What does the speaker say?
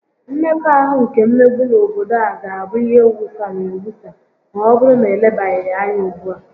Mmekọahụ nke mmegbu n'obodo a ga-abụ ihe wusara ewusa ma ọbụrụ na elebaghị ya anya ugbua